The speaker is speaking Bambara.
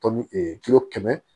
Tɔn me kilo kɛmɛ